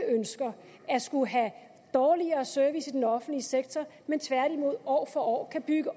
ønsker at skulle have en dårligere service i den offentlige sektor men tværtimod år for år kan bygge